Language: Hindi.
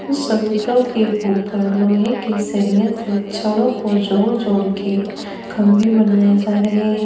चबूतरो के ऊपर लोहे के सरिया से छड़ों को जोड़ जोड़ के खंभे बनाए जा रहे हैं।